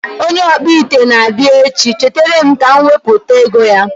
Onye ọkpụ ite na abịa echi, cheteerem ka mụ wepụta ego ya